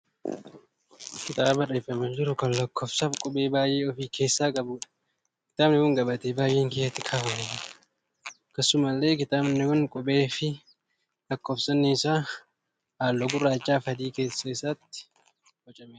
Kitaaba bareeffamee jiru kan lakkoofsaa fi qubee baay'ee ofi keessaa qabuudha. Kitaabni kun gabatee baay'een keessatti kaafamanii jiru. Akkasumallee kitaabni kun qubee fi lakkoofsonni isaa halluu gurraachaa fi adiin keessa isaatti boocamee jira.